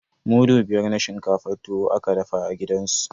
Mudu biyar na shinkafar tuwo aka dafa a gidan sunan.